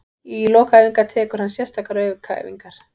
Í lok æfinga tekur hann sérstakar aukaæfingar.